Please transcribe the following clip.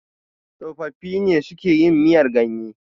tsofaffi ne suke yin miyar ganye